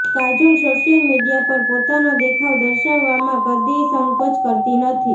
Kajol social media પર પોતાનો દેખાવ દર્શાવવામાં કદીય સંકોચ કરતી નથી